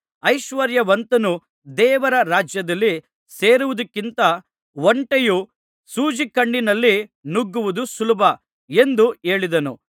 ಐಶ್ವರ್ಯವಂತನು ದೇವರ ರಾಜ್ಯದಲ್ಲಿ ಸೇರುವುದಕ್ಕಿಂತ ಒಂಟೆಯು ಸೂಜಿಕಣ್ಣಿನಲ್ಲಿ ನುಗ್ಗುವುದು ಸುಲಭ ಎಂದು ಹೇಳಿದನು